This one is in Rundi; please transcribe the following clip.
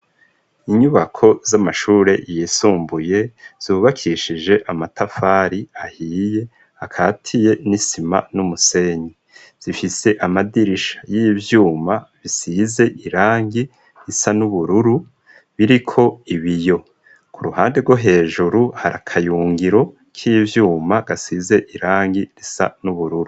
Inyubako z'amashure yisumbuye zubakishije amatafari ahiye, akatiye n'isima n'umusenyi. Zifise amadirisha y'ivyuma bisize irangi risa n'ubururu biriko ibiyo. Ku ruhande rwo hejuru hari akayungiro k'ivyuma gasize irangi risa n'ubururu.